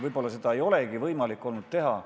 Võib-olla seda polegi olnud võimalik teha.